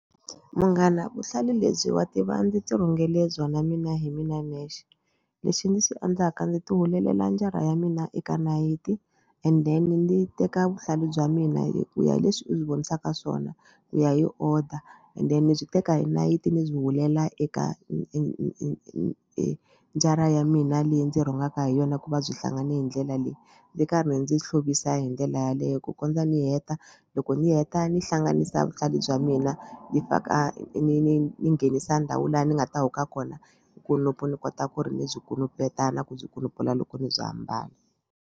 Munghana vuhlalu lebyi wa tiva ndzi tirhungele byona mina hi mina nexe lexi ndzi swi endlaka ndzi tihulelela njara ya mina eka nayiti and then ndzi teka vuhlalu bya mina hi ku ya hi leswi u byi vonisaka swona ku ya hi order and then ni byi teka hi nayiti ni byi hulela eka njara ya mina leyi ndzi rhungaka hi yona ku va byi hlangane hi ndlela leyi ndzi karhi ndzi hlovukisa hi ndlela yaleyo ku kondza ni heta. Loko ni heta ni hlanganisa vuhlalu bya mina ni faka ni ni ni nghenisa ndhawu laha ni nga ta huka kona kunupu ni kota ku ri ni byi kunupeta na ku byi kunupfula loko ni bya hambana.